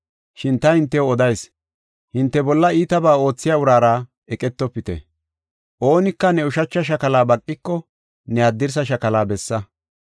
Shin ta hintew odayis; hinte bolla iitabaa oothiya uraara eqetofite. Oonika ne ushacha shakala baqiko ne haddirsa shakala bessa.